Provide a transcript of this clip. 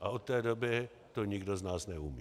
a od té doby to nikdo z nás neumí.